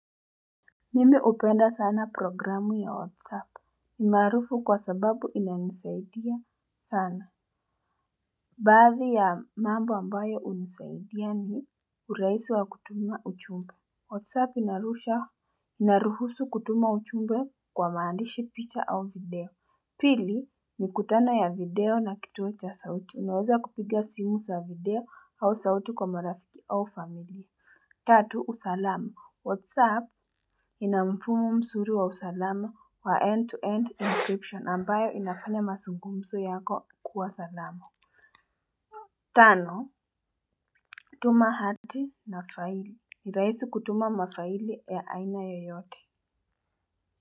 Mimi hupenda sana programu ya WhatsApp. Ni maarufu kwa sababu inanisaidia sana. Baadhi ya mambo ambayo hunisaidia ni urahisi wa kutuma ujumbe. WhatsApp inaruhusu kutuma ujumbe kwa maandishi, picha au video. Pili mikutano ya video na kituo cha sauti. Unaweza kupiga simu za video au sauti kwa marafiki au familia. Tatu, usalama. Whatsapp ina mfumo mzuri wa usalama wa end-to-end encryption ambayo inafanya mazungumzo yako kuwa salama. Tano, tuma hati na faili. Ni rahisi kutuma mafaili ya aina yoyote.